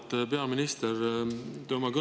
Auväärt peaminister!